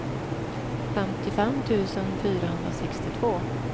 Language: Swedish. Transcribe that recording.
femtiofem tusen fyrahundrasextiotvå